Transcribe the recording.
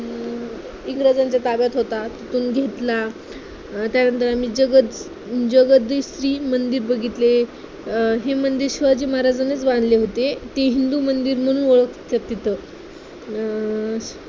इंग्रजांच्या ताब्यात होता. तिथून घेतला त्यानंतर आम्ही जगत जगदीश्वर मंदिर बघितले, अं हे मंदिर शिवाजी महाराजांनीच बांधले होते, ते हिंदू मंदिर म्हणून ओळखतात तिथं अं